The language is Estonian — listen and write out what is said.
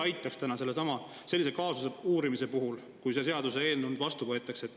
Kuidas selle seaduseelnõu vastuvõtmine aitaks täna kaasa sellesama kaasuse uurimisele?